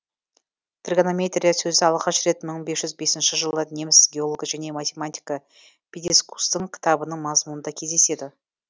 тригонометрия сөзі алғаш рет мың бес жүз бесінші жылы неміс геологы және математигі питискустың кітабының мазмұнында кездеседі